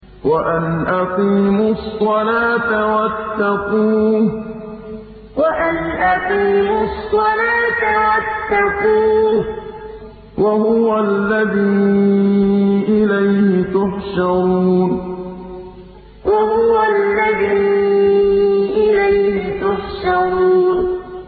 وَأَنْ أَقِيمُوا الصَّلَاةَ وَاتَّقُوهُ ۚ وَهُوَ الَّذِي إِلَيْهِ تُحْشَرُونَ وَأَنْ أَقِيمُوا الصَّلَاةَ وَاتَّقُوهُ ۚ وَهُوَ الَّذِي إِلَيْهِ تُحْشَرُونَ